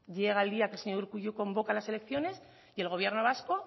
llega el día que el señor urkullu convoca las elecciones y el gobierno vasco